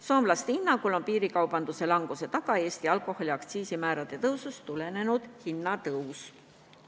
Soomlaste hinnangul on piirikaubanduse vähenemise taga Eesti alkoholiaktsiisi määrade tõusust tulenenud hindade kallinemine.